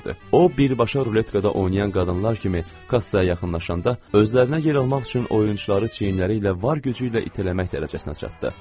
O birbaşa ruletkada oynayan qadınlar kimi kassaya yaxınlaşanda, özlərinə yer almaq üçün oyunçuları çiyinləri ilə var gücü ilə itələmək dərəcəsinə çatdı.